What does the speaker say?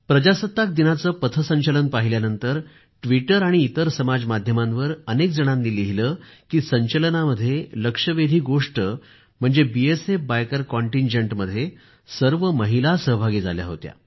प्रजासत्ताक दिनाचे पथसंचलन पाहिल्यानंतर व्टिटर आणि इतर समाज माध्यमावर अनेक जणांनी लिहिले की संचलनामध्ये लक्षवेधी गोष्ट म्हणजे बीएसएफ बायकर कॉंटिनजेंटमध्ये सर्व महिला सहभागी झाल्या होत्या